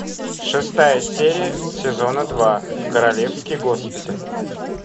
шестая серия сезона два королевский госпиталь